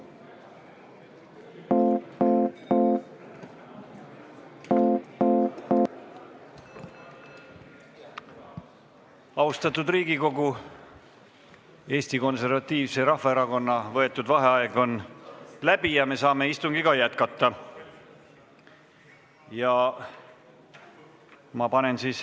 Austatud Riigikogu, Eesti Konservatiivse Rahvaerakonna võetud vaheaeg on läbi ja me saame istungit jätkata.